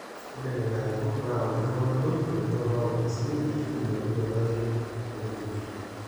ore nena arikok naa olturrur oogelu tendumunoto oonkardasini aashu ening'okino ake toonkutukie